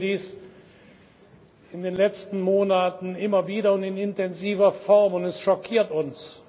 Wir erleben dies in den letzten Monaten immer wieder und in intensiver Form, und es schockiert uns.